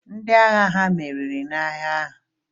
Ndị agha hà meriri n'agha ahụ?